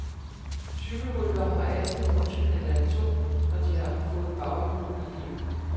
Cykelryttere har altid en undskyldning eller to, når de har fået baghjul i et løb.